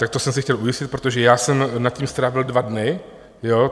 To jsem se chtěl ujistit, protože já jsem nad tím strávil dva dny.